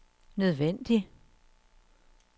nødvendig